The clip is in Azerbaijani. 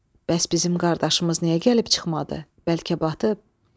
Bəs bizim qardaşımız niyə gəlib çıxmadı, bəlkə batıb?